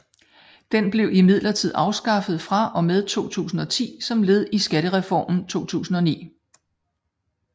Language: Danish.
Den blev imidlertid afskaffet fra og med 2010 som led i skattereformen 2009